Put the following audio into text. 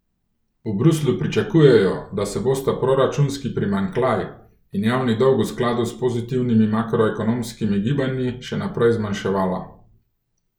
V Bruslju pričakujejo, da se bosta proračunski primanjkljaj in javni dolg v skladu s pozitivnimi makroekonomskimi gibanji še naprej zmanjševala.